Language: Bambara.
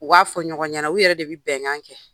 U b'a fɔ ɲɔgɔn ɲɛna. U yɛrɛ de bi bɛŋan kɛ.